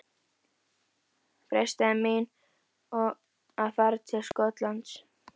Freistaði mín að fara til Skotlands?